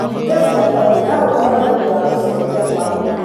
Thundo cia ngothi no cikorwo nĩ ũndũ wa gũcenjia kwa homoni.